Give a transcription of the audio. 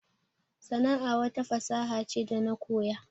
Sana'a wata fasaha ce da na koya